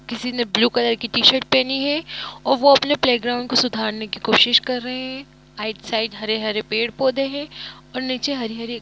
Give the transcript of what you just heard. किसी ने blue colour की टी शर्ट पेहनी है ओर वो अपने प्लेग ग्राउन्ड को सुधार ने की कोशिश कर रहे है आइड साइड हरे हरे पेड़-पौधे है और नीचे हरी हरी --